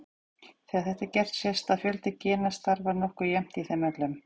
Þegar þetta er gert sést að fjöldi gena starfar nokkuð jafnt í þeim öllum.